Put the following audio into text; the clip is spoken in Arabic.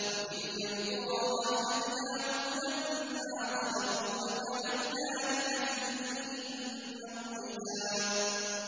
وَتِلْكَ الْقُرَىٰ أَهْلَكْنَاهُمْ لَمَّا ظَلَمُوا وَجَعَلْنَا لِمَهْلِكِهِم مَّوْعِدًا